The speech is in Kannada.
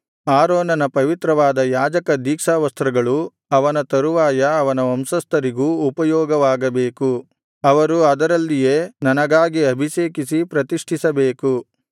ಆರೋನನ ಪವಿತ್ರವಾದ ಯಾಜಕದೀಕ್ಷಾವಸ್ತ್ರಗಳು ಅವನ ತರುವಾಯ ಅವನ ವಂಶಸ್ಥರಿಗೂ ಉಪಯೋಗವಾಗಬೇಕು ಅವರು ಅದರಲ್ಲಿಯೇ ನನಗಾಗಿ ಅಭಿಷೇಕಿಸಿ ಪ್ರತಿಷ್ಠಿಸಬೇಕು